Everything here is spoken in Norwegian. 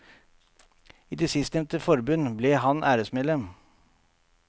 I det sistnevnte forbund ble han æresmedlem.